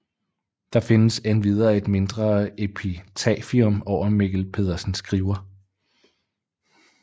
Der findes endvidere et mindre epitafium over Mikkel Pedersen Skriver